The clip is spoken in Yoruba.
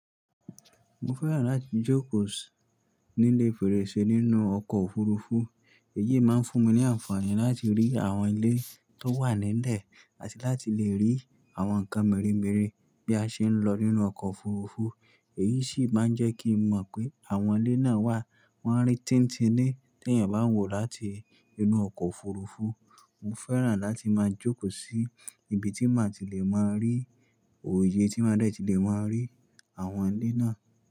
Mo fẹ́ràn láti jókòó sí ilé fèrèsé nínú ọkọ̀ òfurufú. Èyí máa ń fún mi ní àfààní láti rí àwọn ilé tó wà nílẹ̀ àti láti lè rí àwọn nǹkan mírímí bí a ṣe ń lọ nínú ọkọ̀ òfurufú. Èyí sì máa ń jẹ́ kí n mọ̀ pé àwọn ilé náà wà, wọ́n rí tíntín ní tí èèyàn bá wò ó láti inú ọkọ̀ òfurufú. Mo fẹ́ràn láti máa jókòó sí ibi tí màá ti lè máa rí òye tí màá dẹ́ẹ̀ ti lè máa rí àwọn ilé náà.